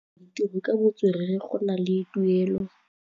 Go dira ditirô ka botswerere go na le tuelô.